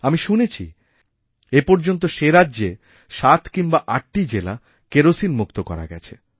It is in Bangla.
আমি শুনেছিএপর্যন্ত সেরাজ্যে সাত কিংবা আটটি জেলা কেরোসিনমুক্ত করা গেছে